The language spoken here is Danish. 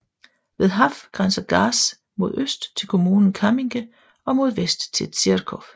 Ved Haff grænser Garz mod øst til kommunen Kamminke og mod vest til Zirchow